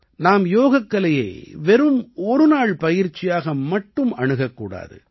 நாம் யோகக்கலையை வெறும் ஒரு நாள் பயிற்சியாக மட்டுமே அணுகக் கூடாது